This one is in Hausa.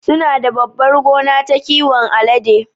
Sunada babbar gona ta kiwon alade